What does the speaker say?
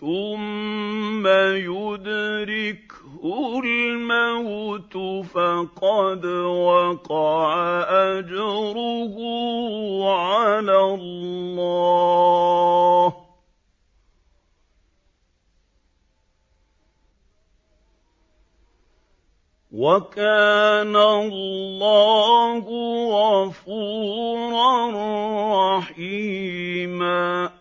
ثُمَّ يُدْرِكْهُ الْمَوْتُ فَقَدْ وَقَعَ أَجْرُهُ عَلَى اللَّهِ ۗ وَكَانَ اللَّهُ غَفُورًا رَّحِيمًا